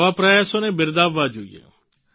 આવા પ્રયાસોને બિરદાવવા જોઈએ